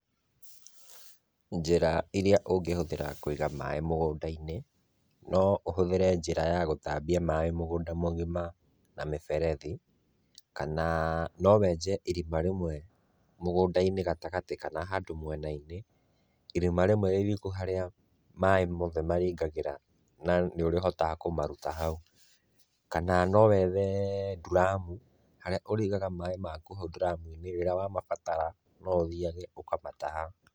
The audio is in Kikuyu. Njĩra iria ũngĩhũthĩra Kũiga maaĩ mũgũnda-inĩ, no ũhũthĩre njĩra ya gũtambia maaĩ mũgũnda mũgima na mĩberethi, kana nowenje irima rĩmwe mũgũnda-inĩ gatagatĩ kana handũ mwena-inĩ, irima rĩmwe rĩriku harĩa maĩ mothe marĩingagĩra na nĩũrĩhotaga kũmaruta hau, kana nowethe nduramu, harĩa ũrĩigaga maaĩ maku hau nduramu-inĩ, rĩrĩa wamabatara, noũthiage ũkamataha.